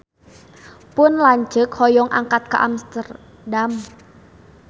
Pun lanceuk hoyong angkat ka Amsterdam